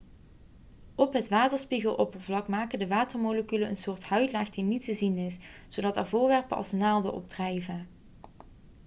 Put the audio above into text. op het waterspiegeloppervlak maken de watermoleculen een soort huidlaag die niet te zien is zodat er voorwerpen als naalden op drijven